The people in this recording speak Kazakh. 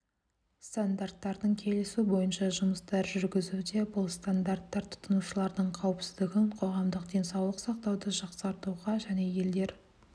стандарттарын келісу бойынша жұмыстар жүргізуде бұл стандарттар тұтынушылардың қауіпсіздігін қоғамдық денсаулық сақтауды жақсартуға және елдер